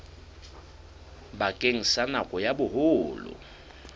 bakeng sa nako ya boholo